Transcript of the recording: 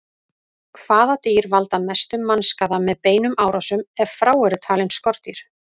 Hvaða dýr valda mestum mannskaða með beinum árásum, ef frá eru talin skordýr?